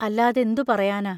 അല്ലാതെന്തു പറയാനാ?